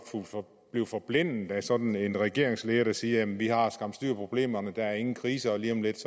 blive forblændet af sådan en regeringsleder der siger vi har skam styr på problemerne der er ingen krise og lige om lidt